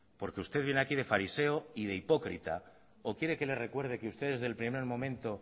porque usted viene aquí de fariseo y de hipócrita o quiere que le recuerde que ustedes desde el primer momento